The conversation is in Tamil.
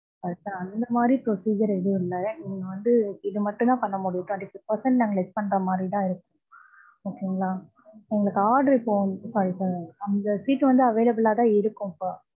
அதுதான். அந்த மாதிரி procedure எதுவும் இல்ல. நீங்க வந்து இது மட்டும் தான் பண்ண முடியும். twenty five percent நாங்க less பண்ற மாரி தான் இருக்கும். okay ங்களா. எங்களுக்கு order இப்போ. sorry sir. அந்த seat வந்து available ஆ தான் இருக்கும் இப்ப.